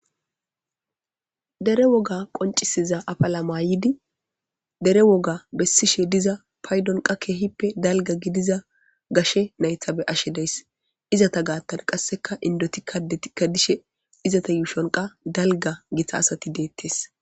dere woga qoncisiza apalama yidi dere woga bessishe diza paydonqa keehippe dalga gidiza gashe naythabe ashe deys izata gaattan qasseka indotikkadetikka dishe izata yuushonqa dalga gita asati deettes